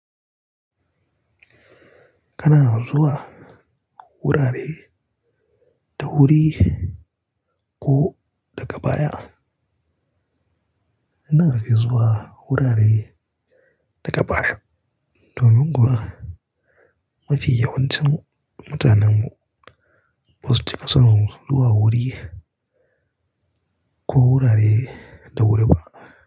Kana zuwa wurare da wuri ko daga baya? Ina fi zuwa wurare daga baya. Domin kuwa mafi yawancin mu. Mutanen mu basu cika son zuwa wuri ko wurare da wuri ba.